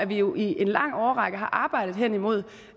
vi jo i en lang årrække har arbejdet hen imod